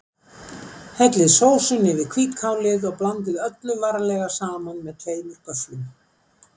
Hellið sósunni yfir hvítkálið og blandið öllu varlega saman með tveimur göfflum.